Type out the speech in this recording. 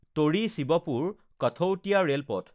টৰি শিৱপুৰ কাঠৌটিয়া ৰেলপথ